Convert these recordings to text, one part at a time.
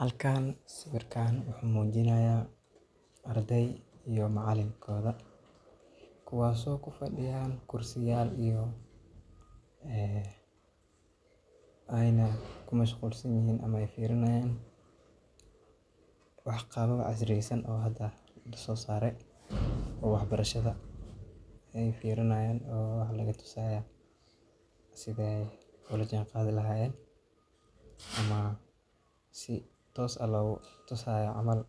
Halkan sawiirkaan wuxuu mujinaaya ardeey iyo macalinkoodi, kuwaas oo kufadiyaan kursiyaal aayna ku mashquul san yihiin ama fiirini haayan wax qalab casri yeysan oo hada lasoo saare sida aay ula jaan qaadi lahayen ama si toos ah loogu tusi haayo,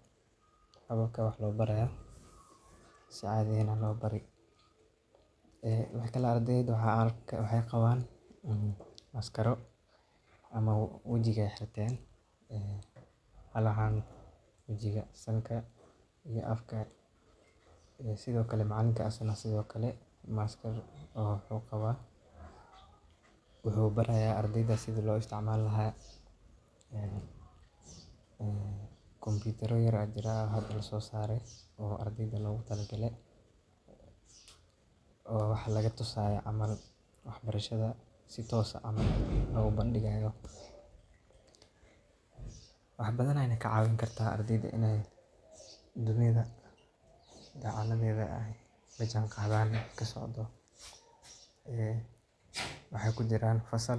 si caadi ah loo Bari, ardeyda waxeey qabaan maskaro ama wajiga ayeey xirteen, halaha wajiga sanka iyo afka, sido kale macalinka asagana maskar ayuu qabaa, wuxuu baraya ardeyda sida loo isticmaali lahaa, computer yar ayaa jiraan oo hada lasoo saare ardeyda loogu tala galay, oo wax laga tusaayo camal wax barashada si toos ah loogu bandigaayo, waxeey ka cawin karta ardeyda in dunida lajaan qadan waxa kasocdo, waxeey kujiraan fasal.